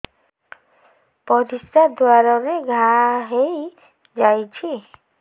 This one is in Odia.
ପରିଶ୍ରା ଦ୍ୱାର ରେ ଘା ହେଇଯାଇଛି